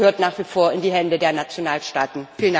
Das gehört nach wie vor in die Hände der Nationalstaaten.